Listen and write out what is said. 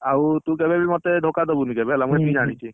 ଆଉ ତୁ, ତୁ କେବେବି ଧୋକାଦବୁନୁ ମୋତେ ହେଲା ମୁଁ ଏତିକି ଜାଣିଛି।